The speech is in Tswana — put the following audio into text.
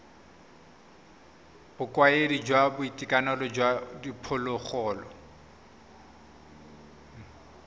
bokaedi jwa boitekanelo jwa diphologolo